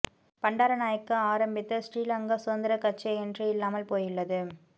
பண்டாரநாயக்க ஆரம்பித்த ஸ்ரீ லங்கா சுதந்திரக் கட்சி இன்று இல்லாமல் போயுள்ளது